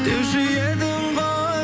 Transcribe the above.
деуші едің ғой